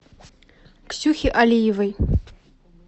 ксюхе алиевой